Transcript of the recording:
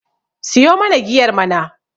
siyo mana giyar mana!